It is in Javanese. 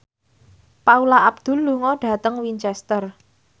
Paula Abdul lunga dhateng Winchester